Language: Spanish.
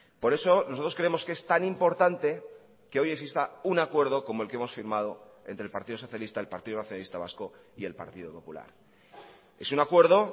por eso nosotros creemos que es tan importante que hoy exista un acuerdo como el que hemos firmado entre el partido socialista el partido nacionalista vasco y el partido popular es un acuerdo